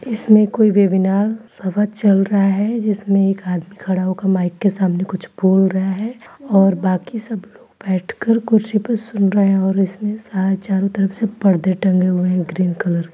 इसमे कोई वेविनार सभा चल रहा है जिसमे एक आदमी खड़ा होकर माइक के सामने कुछ बोल रहा है और बाकी सब लोग बैठकर कुर्सी पर सुन रहे हैं और इसमे सारे चारो तरफ से पर्दे टंगे है ग्रीन कलर की ।